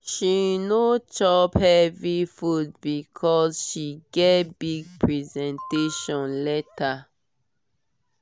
she no chop heavy food because she get big presentation later.